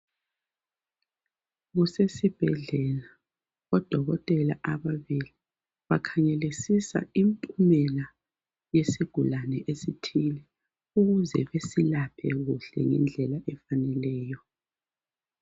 Kusesibhedlela odokotela ababili bakhangelisisa impumela yesigulane esithile ukuze besilaphe kuhle ngendlela efaneleyo.